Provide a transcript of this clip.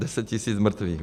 Deset tisíc mrtvých.